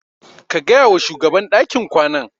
Ka gaya wa shugaban dakin kwanan.